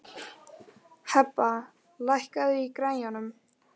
Hebba, lækkaðu í græjunum.